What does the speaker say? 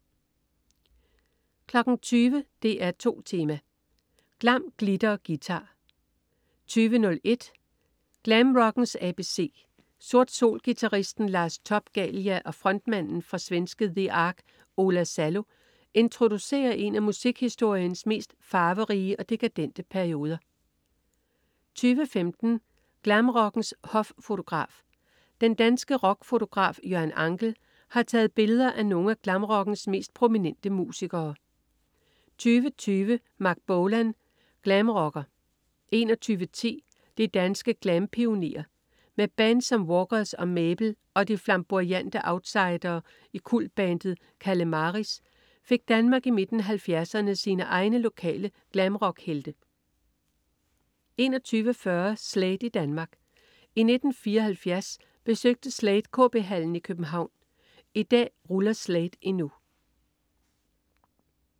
20.00 DR2 Tema: Glam, glitter og guitar 20.01 Glamrockens ABC. Sort Sol-guitaristen Lars Top-Galia og frontmanden fra svenske The Ark, Ola Salo, introducerer en af musikhistoriens mest farverige og dekadente perioder 20.15 Glamrockens hoffotograf. Den danske rockfotograf Jørgen Angel har taget billeder af nogle af glamrockens mest prominente musikere 20.20 Marc Bolan, glamrocker 21.10 De danske glampionerer. Med bands som Walkers og Mabel og de flamboyante outsidere i kultbandet Kalemaris fik Danmark i midten af 70'erne sine egne lokale glamrockhelte 21.40 Slade i Danmark. I 1974 besøgte Slade KB Hallen i København. I dag ruller Slade endnu